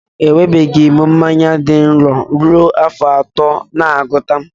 Enwebeghị m mmanya dị nro ruo afọ atọ na agụta